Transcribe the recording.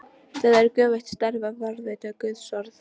Það er göfugt starf að varðveita guðsorð.